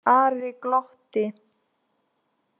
Ari glotti.